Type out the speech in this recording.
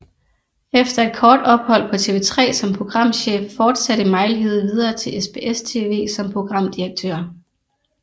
Efter et kort ophold på TV3 som programchef fortsatte Mejlhede videre til SBS TV som programdirektør